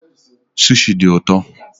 Sushi dị ụtọ